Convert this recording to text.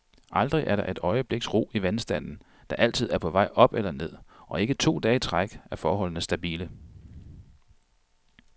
Aldrig er der et øjebliks ro i vandstanden, der altid er på vej op eller ned, og ikke to dage i træk er forholdene stabile.